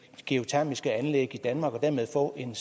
geotermiske anlæg i danmark og dermed få en